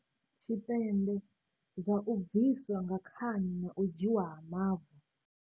Tshipembe, zwa u bviswa nga khani na u dzhiiwa ha mavu.